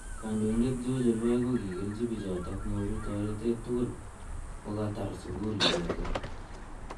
Kandoindet George Olwal kokileji bichotok nyoru toretet tugul kokatar sugul icheket.